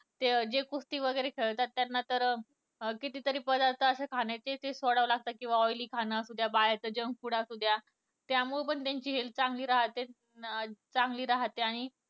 ते जे कुस्तीवैगरे खेळतात त्यांना तर किती तरी पदार्थ अशे खाण्याचे सोडावे लागते. किवा oily खाण असू द्या बाहेरचे junk food असू द्या त्यामुळं पण त्यांची health चांगली राहते, चांगली राहते आणि